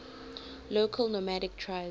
local nomadic tribes